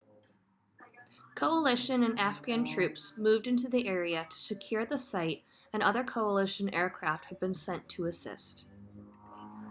coalition and afghan troops moved into the area to secure the site and other coalition aircraft have been sent to assist